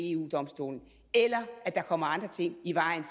eu domstolen eller at der kommer andre ting i vejen